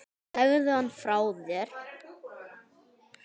Legðu hann frá þér